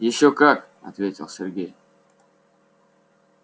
ещё как ответил сергей